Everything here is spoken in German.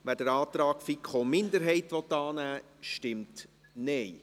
wer den Antrag der FiKo-Minderheit annehmen will, stimmt Nein.